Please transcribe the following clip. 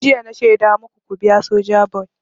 Tun jiya na shaida maku ku biya Sojaboy!